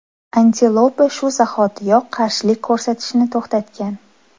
Antilopa shu zahotiyoq qarshilik ko‘rsatishni to‘xtatgan.